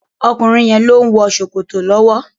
Ọkùnrin yẹn ló ń wọ Sòkòtò lọ́wọ́.